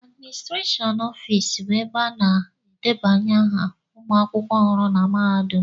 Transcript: Adịmịstrashịọn ọfịịsi bụ ebe a na-edebanye aha ụmụ akwụkwọ ọhụrụ na mahadum